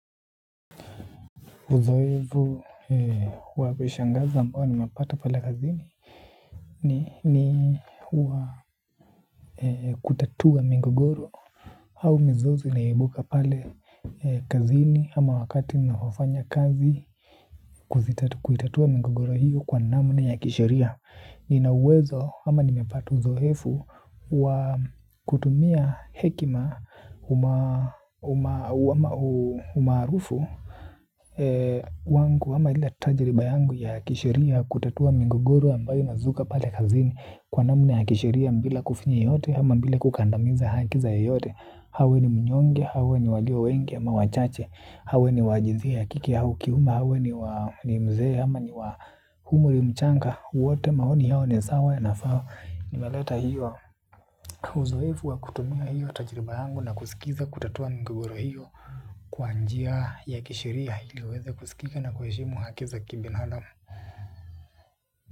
Uzoefu wa kushangaza ambao nimepata pale kazini ni kutatua migogoro au mizozo inayoebuka pale kazini ama wakati ninapofanya kazi kuzitatua migogoro hiyo kwa namna ya kisheria nina uwezo ama nimepata uzoefu wa kutumia hekima umaarufu wangu ama ile tajiriba yangu ya kisheria kutatua migogoro ambayo inazuka pale kazini kwa namna ya kisheria bila kufinye yeyote ama bile kukandamiza haki za yeyote awe ni mnyonge, awe ni walio wengi ama wachache, awe ni wa jinsia ya kiki au kiume awe ni mzee ama ni wa umri mchanga wote maoni yao ni sawa inafaa nimeleta hiyo uzoefu wa kutumia hiyo tajiriba yangu na kusikiza kutatua migogoro hiyo. Kwa njia ya kisheria ili uweze kusikika na kuheshimu haki za kibinadamu.